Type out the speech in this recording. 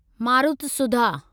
मारुतसुधा